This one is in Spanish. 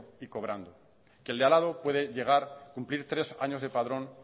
y cobrando que el de al lado puede llegar cumplir tres años de padrón